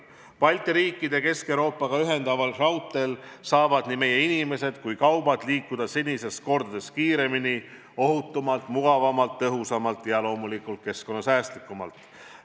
Balti riike Kesk-Euroopaga ühendaval raudteel saavad nii meie inimesed kui ka kaubad liikuda senisest mitu korda kiiremini, ohutumalt, mugavamalt, tõhusamalt ja loomulikult keskkonnasäästlikumalt.